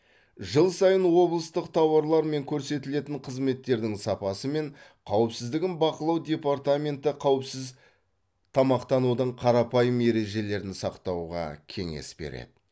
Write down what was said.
жыл сайын облыстық тауарлар мен көрсетілетін қызметтердің сапасы мен қауіпсіздігін бақылау департаменті қауіпсіз тамақтанудың қарапайым ережелерін сақтауға кеңес береді